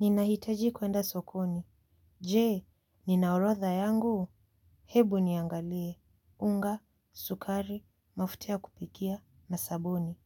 Ninahitaji kuenda sokoni. Je nina orotha yangu. Hebu niangalie. Unga sukari mafuta ya kupikia na sabuni.